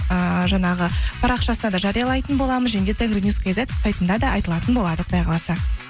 ыыы жаңағы парақшасында да жариялайтын боламыз және де тенгринюс кизет сайтында да айтылатын болады құдай қаласа